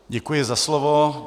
Děkuji za slovo.